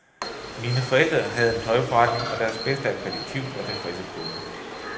Mine forældre havde en tøjforretning og deres bedste akkreditiv var tilfredse kunder.